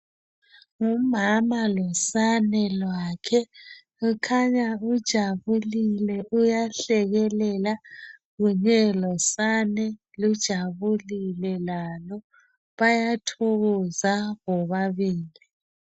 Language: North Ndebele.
Ngumama losane lwakhe ukhanya uthokozolile uyahlekelela kunye losane luthokozile lalo bayathokoza bobabili.